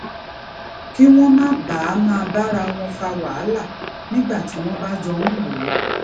kí wón má baà máa bára wọn fa wàhálà nígbà tí wón bá jọ ń lò ó